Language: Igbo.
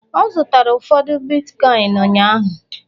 ọ zụtara ụfọdụ bitkọịn ụnyaahụ